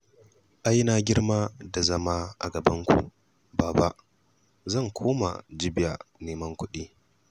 Ai na girma da zama a gabanku, Baba. Zan koma Jibiya neman kuɗi